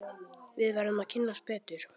Við verðum að kynnast betur.